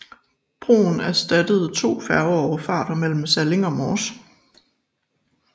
Broen erstattede to færgeoverfarter mellem Salling og Mors